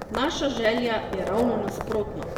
Naša želja je ravno nasprotno!